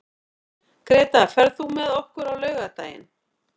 Greta, ferð þú með okkur á laugardaginn?